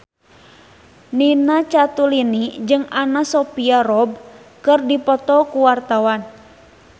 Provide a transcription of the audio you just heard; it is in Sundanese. Nina Zatulini jeung Anna Sophia Robb keur dipoto ku wartawan